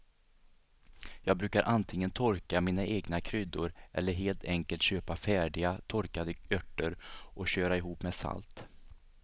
Jag brukar antingen torka mina egna kryddor eller helt enkelt köpa färdiga torkade örter och köra ihop med salt.